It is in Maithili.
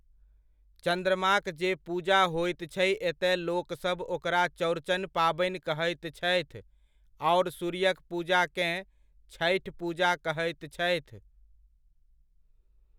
चन्द्रमाक जे पूजा होइत छै एतय लोकसब ओकरा चौरचन पाबनि कहैत छथि, आओर सूर्यक पूजाकेँ छठि पूजा कहैत छथि।